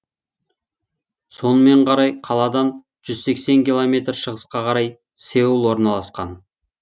сонымен қарай қаладан жүз сексен километр шығысқа қарай сеул орналасқан